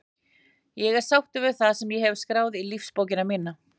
Ég er sáttur við það sem ég hef skráð í lífsbókina mína.